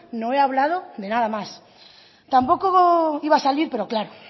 no he hablado de nada más tampoco iba a salir pero claro